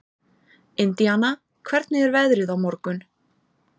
Indiana, hvernig er veðrið á morgun?